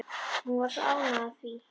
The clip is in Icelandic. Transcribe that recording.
Hún var svo ánægð af því að